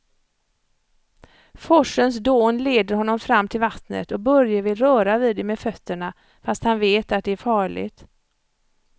Forsens dån leder honom fram till vattnet och Börje vill röra vid det med fötterna, fast han vet att det är farligt.